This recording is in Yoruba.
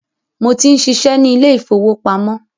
Mo tí ń ṣiṣẹ́ ni ilé ìfowópamọ́